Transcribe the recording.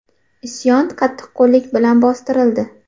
Isyon qattiqqo‘llik bilan bostirildi.